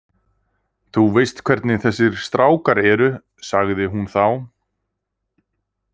Þú veist hvernig þessir strákar eru- sagði hún þá.